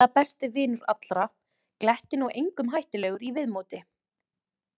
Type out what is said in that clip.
Ævinlega besti vinur allra, glettinn og engum hættulegur í viðmóti.